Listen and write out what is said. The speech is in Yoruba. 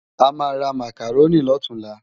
Amá rá Mákáróni lòtúnlá